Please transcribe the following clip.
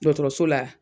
Dɔgɔtɔrɔso la